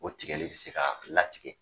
O tigɛli be se ka latigɛ.